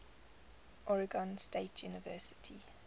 oregon state university